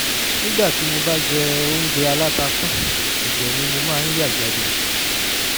nígbà tí mo bá jẹ oúnjẹ aláta tán ẹ̀jẹ̀ ni mo máa ń yà jáde